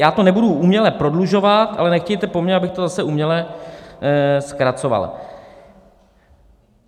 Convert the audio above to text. Já to nebudu uměle prodlužovat, ale nechtějte po mně, abych to zase uměle zkracoval.